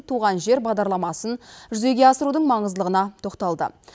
туған жер бағдарламасын жүзеге асырудың маңыздылығына тоқталды